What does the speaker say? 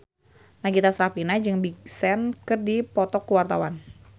Nagita Slavina jeung Big Sean keur dipoto ku wartawan